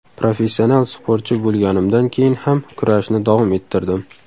Professional sportchi bo‘lganimdan keyin ham kurashni davom ettirdim.